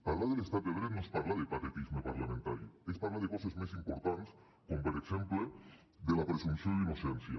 parlar de l’estat de dret no és parlar de patetisme parlamentari és parlar de coses més importants com per exemple de la presumpció d’innocència